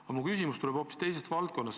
Aga mu küsimus tuleb hoopis teisest valdkonnast.